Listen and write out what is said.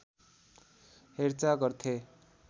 हेरचाह गर्थे